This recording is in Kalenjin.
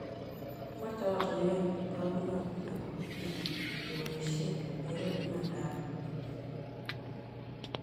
Kimache oratinwek che tagunotin akopo kila kepoishe kero imandap EdTech